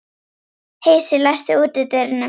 Heisi, læstu útidyrunum.